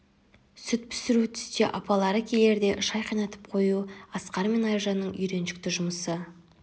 сүт пісіру түсте апалары келерде шай қайнатып қою асқар мен айжанның үйреншікті жұмысы